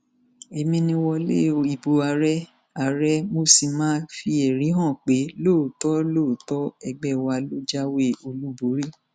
èmi ni wọlé ìbò àárẹ àárẹ mo sì máa fi ẹrí hàn pé lóòótọ lóòótọ ẹgbẹ wa ló jáwé olúborí